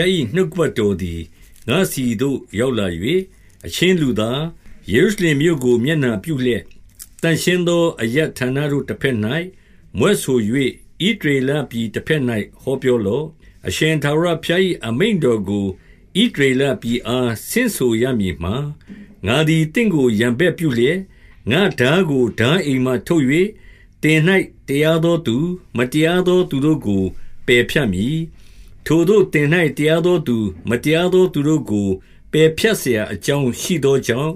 ား၏ နှုတ်ကပတ်တော်သည် ငါ့ဆီသို့ရောက်လာ၍၊ 2 အချင်းလူသား၊ ယေရုရှလင်မြို့ကို မျက်နှာ ပြုလျက်၊ သန့်ရှင်းသော အရပ်ဌာနတို့တဘက်၌ မြွက်ဆို ၍ ဣသရေလပြည်တဘက်၌ ဟောပြောလော့။ 3 အရှင်ထာဝရဘုရား၏ အမိန့်တော်ကို ဣသ ရေလပြည်အား ဆင့်ဆိုရမည်မှာ၊ ငါသည် သင့်ကို ရန်ဘက်ပြုလျက်၊ ငါ့ထားကိုထားအိမ်မှ ထုတ်၍၊ သင်၌ တရားသောသူ၊ မတရားသောသူတို့ကို ပယ်ဖြတ်မည်။ 4 ထိုသို့သင်၌ တရားသောသူ၊ မတရားသော သူတို့ကို ပယ်ဖြတ်စရာအကြောင်းရှိသောကြောင့်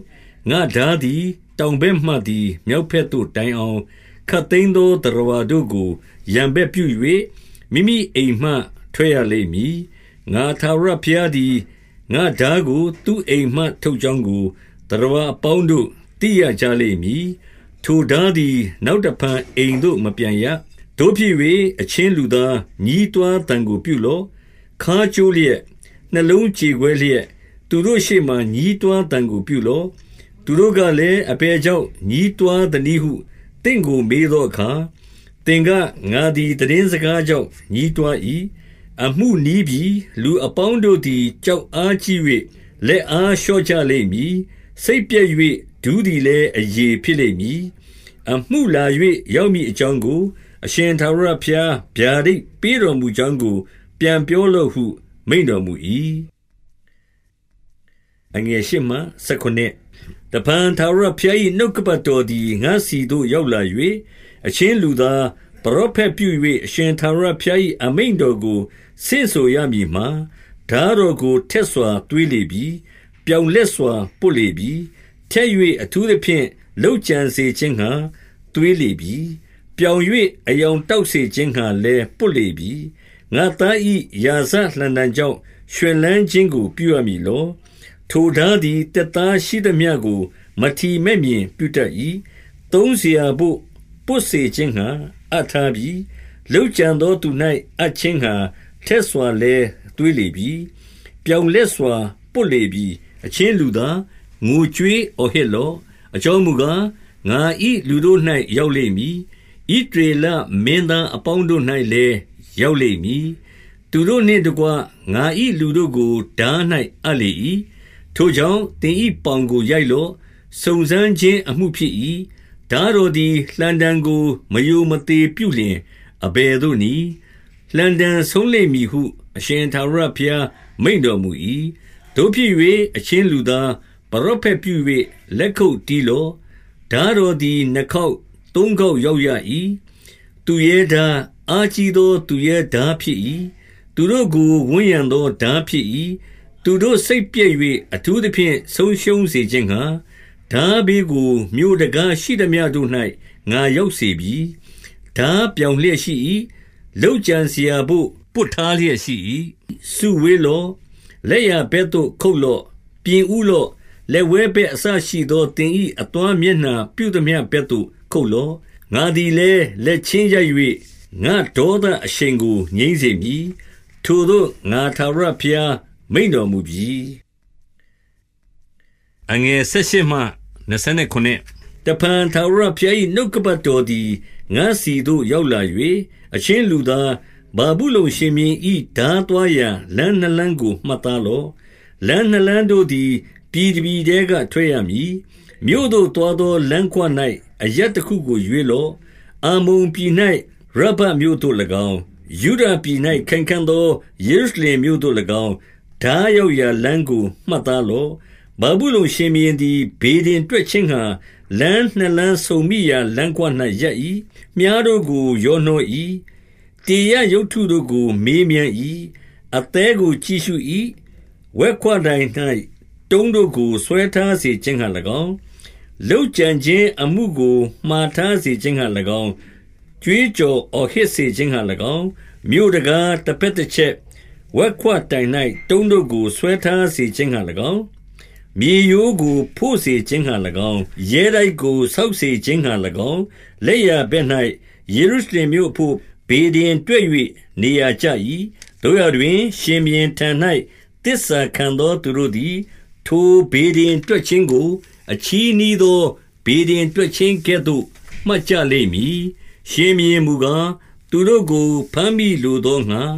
၊ ငါ့ထား သည် တောင်ဘက်မှသည် မြောက်ဘက်သို့တိုင်အောင်၊ ခပ်သိမ်းသောသတ္တဝါတို့ကို ရန်ဘက်ပြု၍ မိမိအိမ်မှ ထွက်ရလိမ့်မည်။ 5 ငါထာဝရဘုရားသည် ငါ့ထားကို သူ့အိမ်မှ ထုတ်ကြောင်းကို၊ သတ္တဝါအပေါင်းတို့ သိရကြလိမ့်မည်။ ထိုထားသည် နောက်တဖန် အိမ်သို့ မပြန်ရ။ 6 သို့ဖြစ်၍၊ အချင်းလူသား၊ ညည်းတွားသံကို ပြုလော့။ ခါးကျိုးလျက်၊ နှလုံးကြေကွဲလျက်၊ သူတို့ရှေ့မှာ ညည်းတွားသံကို ပြုလော့။ 7 သူတို့ကလည်း၊ အဘယ်ကြောင့် ညည်းတွား သနည်းဟု သင့်ကိုမေးသောအခါ၊ သင်က၊ ငါသည် သိတင်းစကားကြောင့် ညည်းတွား၏။ အမှုနီးပြီ၊။ လူ အပေါင်းတို့သည် ကြောက်အားကြီး၍ လက်အား လျော့ကြလိမ့်မည်။ စိတ်ပျက်၍ ဒူးသည်လည်းအရည် ဖြစ်လိမ့်မည်။ အမှုလာ၍ရောက်မည်အကြောင်းကို၊ အရှင်ထာဝရဘုရား ဗျာဒိတ်ပေးတော်မူကြောင်းကို ပြန်ပြောလော့ဟု မိန့်တော်မူ၏။ 8 တဖန် ထာဝရဘုရား၏ နှုတ်ကပတ်တော်သည် ငါ့ဆီသို့ရောက်လာ၍၊ 9 အချင်းလူသား၊ ပရောဖက်ပြု၍ အရှင်ထာဝရ ဘုရား၏ အမိန့်တော်ကို ဆင့်ဆိုရမည်မှာ၊ ထားတော်ကို ထက်စွာ သွေးလေပြီ။ ပြောင်လက်စွာ ပွတ်လေပြီ။ 10 ထက်၍ အထူးသဖြင့် လုပ်ကြံစေခြင်းငှါ သွေး လေပြီ။ ပြောင်၍ အရောင်တောက်စေခြင်းငှါလည်း ပွတ် လေပြီ။ ငါ့သား၏ ရာဇလှံတံကြောင့် ရွှင်လန်းခြင်းကို ပြုရမည်လော။ ထိုထားသည် သစ်သားရှိသမျှကို မထီမဲ့မြင် ပြုတတ်၏။ 11 သုံးစရာဘို့ ပွတ်စေခြင်းငှါ အပ်ထားပြီ။ လုပ် ကြံသောသူ၌ အပ်ခြင်းငှါ ထက်စွာလည်း သွေးလေပြီ။ ပြောင်လက်စွာပွတ်လေပြီ။ 12 အချင်းလူသား၊ ငိုကြွေးအော်ဟစ်လော့။ အကြောင်းမူကား၊ ငါ၏ လူတို့၌ရောက်လိမ့်မည်။ ဣသ ရေလမင်းသားအပေါင်းတို့၌လည်း ရောက်လိမ့်မည်။ သူတို့နှင့်တကွ ငါ၏လူတို့ကို ထား၌အပ်လေ၏။ ထိုကြောင့်၊ သင်၏ပေါင်ကို ရိုက်လော့။ 13 စုံစမ်းခြင်းအမှုဖြစ်၏။ ထားတော်သည် လှံတံကို မရိုမသေပြုလျှင် အဘယ်သို့နည်း။ လှံတံဆုံးလိမ့်မည်ဟု အရှင်ထာဝရဘုရားမိန့်တော်မူ၏။ 14 သို့ဖြစ်၍၊ အချင်းလူသား၊ ပရောဖက်ပြု၍ လက်ခုပ်တီးလော့။ ထားတော်သည် နှစ်ခေါက်၊ သုံးခေါက် ရောက်ရ၏။ သူရဲထား၊ အားကြီးသော သူရဲထားဖြစ်၏။ သူတို့ကိုဝန်းရံသော ထားဖြစ်၏။ 15 သူတို့စိတ်ပျက်၍ အထူးသဖြင့်ဆုံးရှုံးစေခြင်းငှါ၊ ထားဘေးကိုမြို့ တံခါးရှိသမျှတို့၌ ငါရောက်စေပြီ။ ထားပြောင်လျက်ရှိ၏။ လုပ်ကြံစရာဘို့ ပွတ်ထားလျက် ရှိ၏။ 16 စုဝေးလော့။ လက်ျာဘက်သို့ ခုတ်လော့။ ပြင်ဦး လော့။ လက်ဝဲဘက် အစရှိသော သင်၏အသွားမျက်နှာ ပြုသမျှဘက်သို့ ခုတ်လော့။ 17 ငါသည်လည်း လက်ချင်းရိုက်၍၊ ငါဒေါသအရှိန် ကို ငြိမ်းစေမည်။ ထိုသို့ငါထားဝရဘုရား မိန့်တော်မူပြီ။ 18 တဖန် ထာဝရဘုရား၏ နှုတ်ကပတ်တော်သည် ငါ့ဆီသို့ရောက်လာ၍၊ 19 အချင်းလူသား၊ ဗာဗုလုန်ရှင်ဘုရင်၏ ထား သွားရာလမ်းနှစ်လမ်းကို မှတ်သားလော့။ လမ်းနှစ်လမ်း တို့သည် ပြည်တပြည်ထဲက ထွက်ရမည်။ မြို့သို့သွားသော လမ်းခွ၌ အရပ်တခုကို ရွေးလော့။ 20 အမ္မုန်ပြည်၌ ရဗ္ဗတ်မြို့သို့၎င်း၊ ယုဒပြည်၌ ခိုင်ခံ့သော ယေရုရှလင်မြို့သို့၎င်း၊ ထားရောက်ရာလမ်းကို မှတ်သားလော့။ 21 ဗာဗုလုန်ရှင်ဘုရင်သည် ဗေဒင်တွက်ခြင်းငှါ လမ်းနှစ်လမ်းဆုံမိရာလမ်းခွ၌ ရပ်၏။ မြှားတို့ကို ရောနှော ၏။ တေရပ်ရုပ်တုတို့ကို မေးမြန်း၏။ အသည်းကို ကြည့်ရှု ၏။ 22 ဝက်ခွတိုင်၌ တုံးတို့ကို ဆွဲထားစေခြင်းငှါ၎င်း၊ လုပ်ကြံခြင်းအမှုကို မှာထားစေခြင်းငှါ၎င်း၊ ကြွေးကြော် အော်ဟစ်စေခြင်းငှါ၎င်း၊ ရဲတိုက်ကို ဆောက်စေခြင်းငှါ ၎င်း၊ မြေရိုးကိုဖို့စေခြင်းငှါ၎င်း၊ လက်ျားဘက်၌ ယေရုရှ လင်မြို့အဘို့ ဗေဒင်တွက်၍ နေရာကျ၏။ 23 သို့ရာတွင်၊ ရှင်ဘုရင်ထံ၌ သစ္စာခံသောသူတို့ သည် ထိုဗေဒင်တွက်ခြင်းကို အချည်းနှီးသော ဗေဒင် တွက်ခြင်းကဲ့သို့ မှတ်ကြလိမ့်မည်။ ရှင်ဘုရင်မူကား၊ သူတို့ ကို ဘမ်းမိလိုသောငှါ၊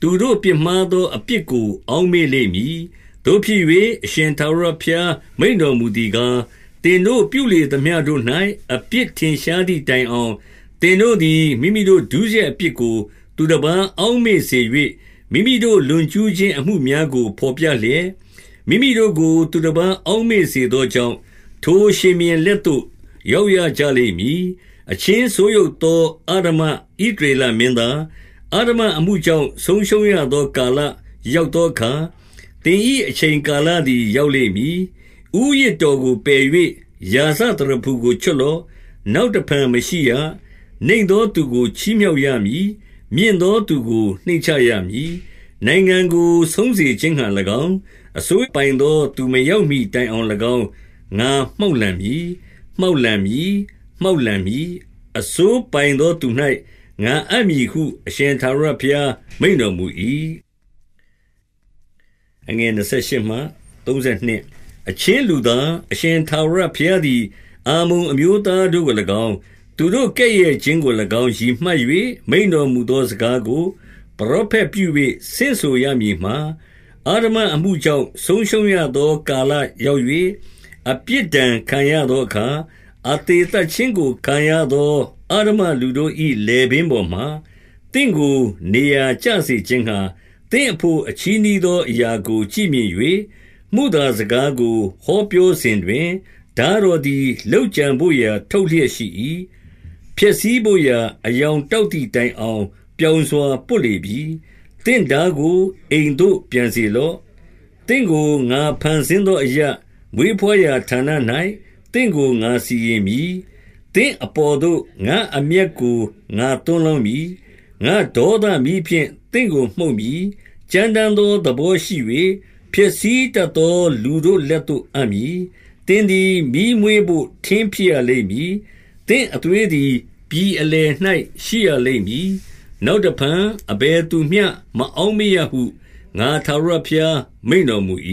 သူတို့ပြစ်မှားသော အပြစ်ကို အောက်မေ့လိမ့်မည်။ 24 သို့ဖြစ်၍၊ အရှင်ထာဝရဘုရား မိန့်တော်မူသည် ကား၊ သင်တို့ပြုလေသမျှတို့၌ အပြစ်ထင်ရှားသည် တိုင်အောင်၊ သင်တို့သည် မိမိတို့ဒုစရိုက် အပြစ်ကို သူတပါးအောက်မေ့စေ၍၊ မိမိတို့ လွန်ကျူးခြင်း အမှုများ ကို ဘော်ပြလျက်၊ မိမိတို့ကို သူတပါး အောက်မေ့စေသော ကြောင့်၊ ထိုရှင်ဘုရင်လက်သို့ ရောက်ရကြလိမ့်မည်။ 25 အချင်းဆိုးယုတ်သော အဓမ္မ ဣသရေလ မင်းသား၊ အဓမ္မအမှုကြောင့်ဆုံးရှုံးရသောကာလ ရောက် သောအခါ၊ သင်၏အချိန်ကာလသည် ရောက်လိမ့်မည်။ 26 ဦးရစ်တော်ကိုပယ်၍ ရာဇသရဖူကို ချွတ်လော့။ နောက်တဖန် မရှိရ။ နိမ့်သောသူကိုချီးမြှောက်ရမည်။ မြင့်သောသူကို နှိမ့်ချရမည်။ 27 နိုင်ငံကို ဆုံးရှုံးစေခြင်းငှါ၊ အစိုးပိုင်သောသူ မရောက်မှီတိုင်အောင်၎င်း ငါမှောက်လှန်မည်။ မှောက် လန်မည်။ မှောက်လှန်မည်။ အစိုးပိုင်သော သူ၌ ငါအပ် မည်ဟု အရှင်ထာဝရဘုရား မိန့်တော်မူ၏။ 28 အချင်းလူသား၊ အရှင်ထာဝရဘုရားသည် အမ္မုန်အမျိုးသားတို့ကို၎င်း၊ 29 သူတို့ကဲ့ရဲ့ခြင်းကို၎င်း ရည်မှတ်၍မိန့်တော်မူ သော စကားကို ပရောဖက်ပြု၍ ဆင့်ဆိုရမည်မှာ၊ အဓမ္မ အမှုကြောင့် ဆုံးရှုံးရသော ကာလရောက်၍ အပြစ်ဒဏ် ခံရသောအခါ၊ အသေသတ်ခြင်းကို ခံရသောအဓမ္မ လူတို့၏ လည်ပင်းပေါ်မှာ၊ သင့်ကိုနေရာကျစေခြင်းငှါ၊ သင့်အဘို့ အချည်းနှီးသောအရာကိုကြည့်မြင်၍၊ မုသာ စကားကိုဟောပြောစဉ်တွင်၊ ထားတော်သည် လုပ်ကြံ ဘို့ရာ ထုတ်လျက်ရှိ၏။ ဖျက်ဆီးဘို့ရာ အရောင်တောက် သည်တိုင်အောင် ပြောင်စွာပွတ်လေပြီ။ 30 သင့်ထားကို အိမ်သို့ပြန်စေလော့။ သင့်ကို ငါ ဖန်ဆင်းသောအရပ်၊ မွေးဘွားရာဌာန၌ သင့်ကို ငါစီရင် မည်။ 31 သင့်အပေါ်သို့ ငါ့အမျက်ကို ငါသွန်းလောင်း မည်။ ငါ့ဒေါသမီးဖြင့် သင့်ကို မှုတ်မည်။ ကြမ်းတမ်းသော သဘောရှိ၍ ဖျက်ဆီးတတ်သော လူတို့လက်သို့အပ်မည်။ 32 သင်သည်မီးမွေးဘို့ ထင်းဖြစ်ရလိမ့်မည်။ သင့် အသွေးသည် ပြည်အလယ်၌ ရှိရလိမ့်မည်။ နောက်တဖန် အဘယ်သူမျှ မအောက်မေ့ရဟု ငါထာဝရဘုရား မိန့်တော်မူ၏။